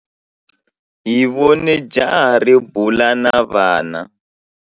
Hi vone jaha ri bula na vana.